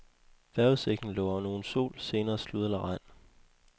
Vejrudsigten lover nogen sol, senere slud eller regn.